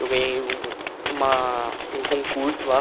Eu ganhei um uma um concurso lá.